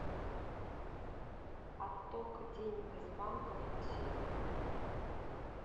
отток денег из банков на сегодня